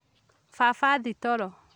Baba athi toro